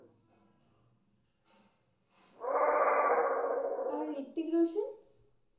আর Hrithik Roshan?